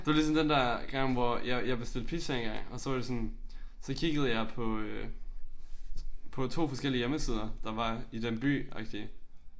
Det var ligesom den der gang hvor jeg jeg bestilte pizza engang og så var de sådan så kiggede jeg på øh på to forskellige hjemmesider der var i den by agtigt